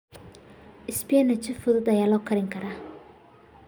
Spinach si fudud ayaa loo karin karaa.